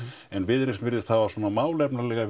en Viðreisn virðist hafa verið svona málefnalega